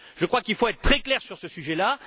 Je crois qu'il faut être très clair sur ce sujet là